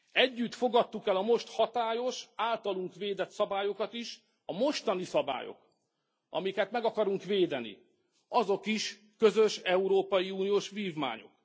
Együtt fogadtuk el a most hatályos, általunk védett szabályokat is, a mostani szabályok, amiket meg akarunk védeni, azok is közös európai uniós vívmányok.